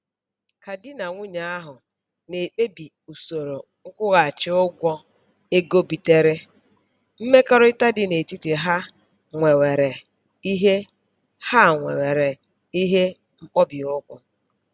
Ka di na nwunye ahụ na-ekpebi usoro nkwụghachi ụgwọ ego bitere, mmekọrịta dị n'etiti ha nwewere ihe ha nwewere ihe mkpọbiụkwụ